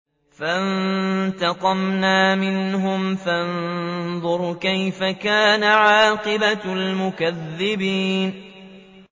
فَانتَقَمْنَا مِنْهُمْ ۖ فَانظُرْ كَيْفَ كَانَ عَاقِبَةُ الْمُكَذِّبِينَ